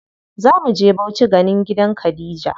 Zamu je Bauchi ganin gidan Khadija.